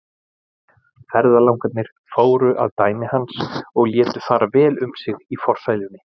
Ferðalangarnir fóru að dæmi hans og létu fara vel um sig í forsælunni.